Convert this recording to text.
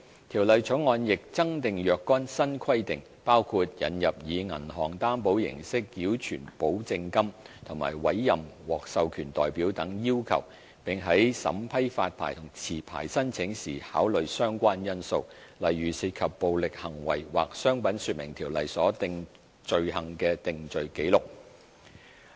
《條例草案》亦增訂若干新規定，包括引入以銀行擔保形式繳存保證金和委任獲授權代表等要求，並在審批發牌和續牌申請時考慮相關因素，例如涉及暴力行為或《商品說明條例》所訂罪行的定罪紀錄。